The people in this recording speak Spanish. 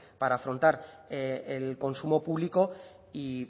para afrontar el consumo público y